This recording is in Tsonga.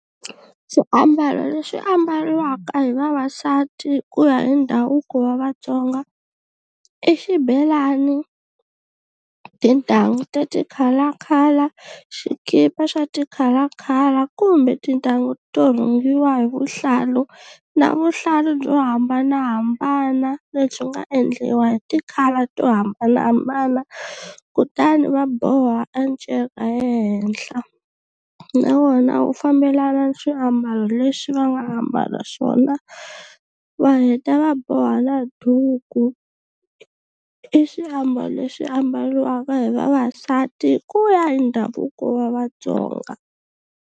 Xiambalo lexi ambariwaka hi vavasati ku ya hi ndhavuko wa Vatsonga i xibelani tintangu ta ti colour colour xikipa xa ti-colour colour kumbe tintangu to rhungiwa hi vuhlalu na vuhlalu byo hambanahambana lebyi nga endliwa hi ti-colour to hambanahambana kutani va boha a nceka ehenhla na wona wu fambelana ni swiambalo leswi va nga ambala swona va heta va boha na duku i xiambalo lexi ambaliwaka hi vavasati ku ya hi ndhavuko wa Vatsonga.